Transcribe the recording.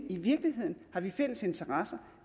i virkeligheden fælles interesser